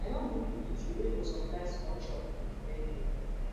i don book di eatery wey go supply small chops for di birthday